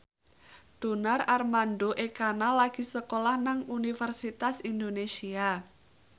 Donar Armando Ekana lagi sekolah nang Universitas Indonesia